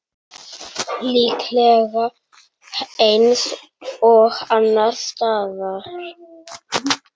Líklega eins og annars staðar.